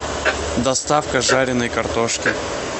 доставка жареной картошки